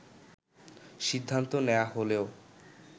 সিদ্ধান্ত নেয়া হলেও